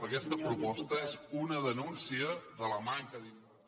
a aquesta proposta és una denúncia de la manca d’inversió